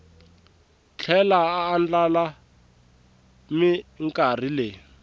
tlhela a andlala minkarhi leyi